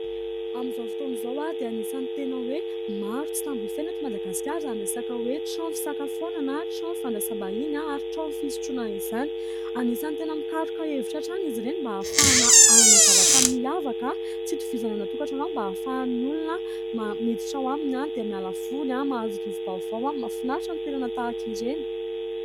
Amin'izao fotoana izao dia anisany tena hoe maro tsy tambo isaina eto Madagasikara izany resaka hoe trano fisakafoanana sy trano fandraisam-bahiny ary trano fisotroana izany. Anisany tena mikaroka hevitra hatrany izy ireny mba ahafahana hanana zavatra miavaka tsy hitovizana amin'ny any an-tokatrano any mba ahafahan'ny olona miditra ao aminy, dia miala voly, mahazo rivo-baovao, mahafinaritra ny toerana tahaka ireny.